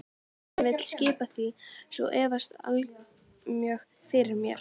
Hví hann vill skipa því svo vefst allmjög fyrir mér.